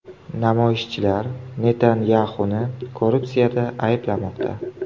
Namoyishchilar Netanyaxuni korrupsiyada ayblamoqda.